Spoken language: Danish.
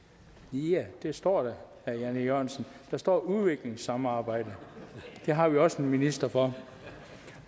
ja det står der herre jan e jørgensen der står udviklingssamarbejde det har vi også en minister for